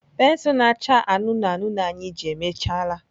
Pensụl na-acha anụnụ anụnụ anyị ji emechaala.